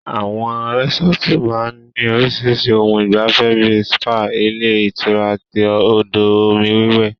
Àwọn resọ́ọ́tu máa ń ní orísirísi ohun ìgbafẹ́ bíi spa, ilé ìtura àti odò omi iwẹ̀.